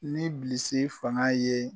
Ni bilisi fanga ye